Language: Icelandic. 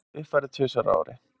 Uppfærður tvisvar á ári.